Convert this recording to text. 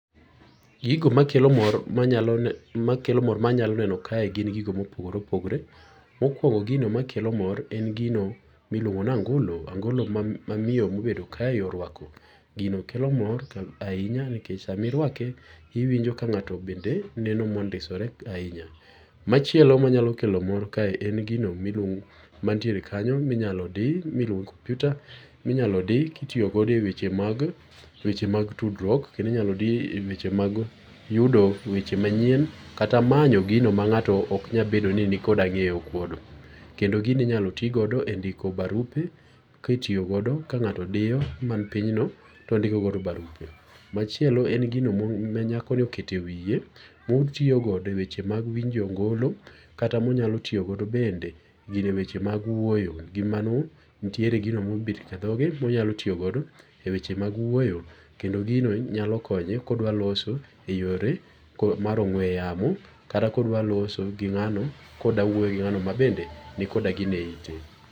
Gigo makelo mor manyalo makelo mor manyalo neno kae gin gigo ma opogore opogore. mokuongo' gigo makelo mor en gino ma iluongo ni ango'lo angolo ma mamiyo mobedo kaeni orwako gino kelo mor ahinya nikech samirwake iwinjo ka nga'to bende neno ma ondisore ahinya. Macheilo manyalo kelo mor kae en gino ma iluongo mantiere kanyo ma inyalo di ma iluongo ni kompiuta minyalo di kitiyogodo e weche mag weche mag tudruok kendo inyalo dii e weche mag yudo e weche manyien kata manyo gino manga'to oknyal bedo ni ni koda nge'yokod. Kendo gino inyalo tigo e ndiko barupe kitiyogodo ka nga'to diyo manpinyno ka indikogodo barupe. machielo en gino ma nyakoni oketo e wiye otiyokode e weche mag winjo ngo'lo kata monyalotiyogodo bende weche mag wuoyo gimano nitiere gigo ma omet kathoge monyalo tiyogodo e weche mag wuoyo kendo gino nyalo konye kodwa loso e yore mar ong'we yamo kata ka odwa loso gi ngano koda wuoyo ging’ano ma bende nikoda gino e ite.